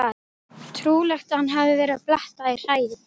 Trúlegt að hann hafi verið að bletta í hræið.